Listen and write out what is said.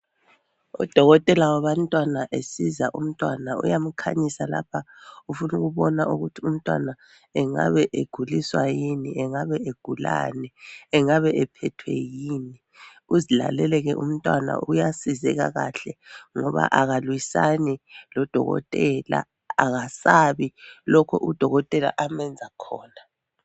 Udokotela wabantwana esiza umntwana uyamkhanyisa lapha ufunukubona ukuthi umntwana engabe eguliswa yini ?Engabe egulani ?Engabe ephethwe yini ? Uzilalele ke umtwana uyasizeka kahle ngoba akalwisani lodokotela akasabi lokho udokotela amenza khona .